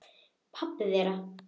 Pabbi þeirra?